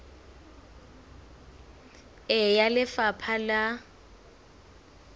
e ya ho lefapha la